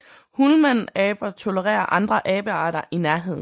Hulmanaber tolererer andre abearter i nærheden